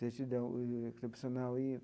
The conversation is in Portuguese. Certidão, e carteira profissional e.